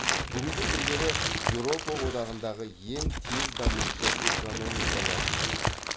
бүгінгі күндері еуропа одағындағы ең тез дамушы экономикаларының бірі